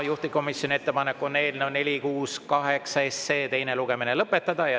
Juhtivkomisjoni ettepanek on eelnõu 468 teine lugemine lõpetada.